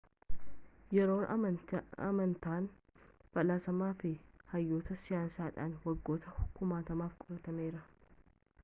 yeroon amantaan faalasamaan fi hayyoota sayiinsidhaan waggoota kumaatamaf qoratameera